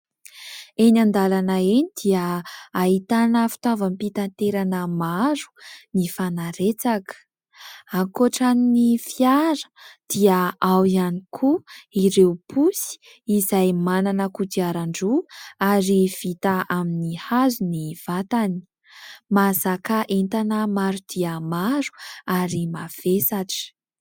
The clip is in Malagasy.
Eny andalana eny dia ahitana fitaovam-pitanterana maro mifanaretsaka, ankoatran'ny fiara dia ao ihany koa ireo posy izay manana kodiarandroa ary vita amin'ny hazo ny vatany, mazaka entana maro dia maro ary mavesatra.